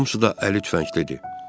Hamısı da əli tüfənglidir.